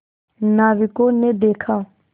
नाविकों ने देखा